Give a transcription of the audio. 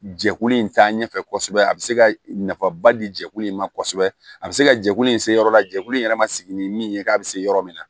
Jɛkulu in taa ɲɛ fɛ kosɛbɛ a bɛ se ka nafaba di jɛkulu in ma kosɛbɛ a bɛ se ka jɛkulu in se yɔrɔ la jɛkulu in yɛrɛ ma sigi ni min ye k'a bɛ se yɔrɔ min na